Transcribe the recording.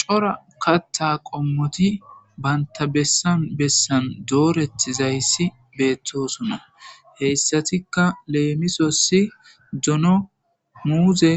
cora katta qommoti baynta bessan bessan dooretizayssi beettosunna heyssatikka leemisosi dono muuze